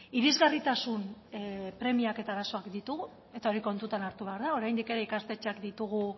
irisgarritasun premiak eta arazoak ditugu eta hori kontutan hartu behar da oraindik ere ikastetxeak ditugu